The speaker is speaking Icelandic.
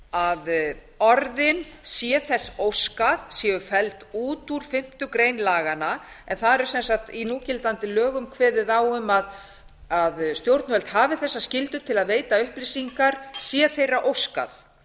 að orðin sé þess óskað séu felld út úr fimmtu grein laganna en þar er sem sagt í núgildandi lögum kveðið á um að stjórnvöld hafi þessa skyldu til að veita upplýsingar sé þeirra óskað